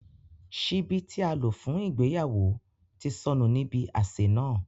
Ṣìbí ti à lo fun ìgbéyàwo ti sọnu ni ibi ạṣe náa.